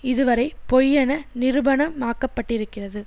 இதுவரை பொய்யென நிரூபணமாக்கப்பட்டிருக்கிறது